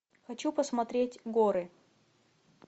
хочу посмотреть горы